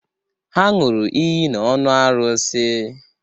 Ha ṅụrụ iyi n'ọnụ arụsi.